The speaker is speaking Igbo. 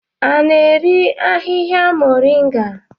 A na-eri ahihia moringa eri?